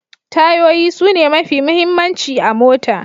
Tayoyi sune mafi muhimmanci a mota.